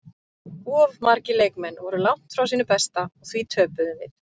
Of margir leikmenn voru langt frá sínu besta og því töpuðum við.